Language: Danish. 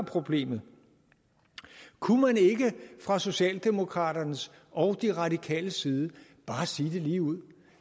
problemet kunne man ikke fra socialdemokraternes og de radikales side bare sige det ligeud